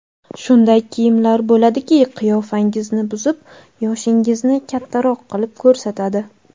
Shunday kiyimlar bo‘ladiki, qiyofangizni buzib yoshingizni kattaroq qilib ko‘rsatadi.